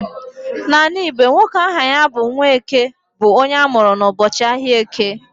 N'ala Igbo, nwoke aha ya bụ 'Nwaeke' bụ onye amụrụ n'ụbọchị ahịa Eke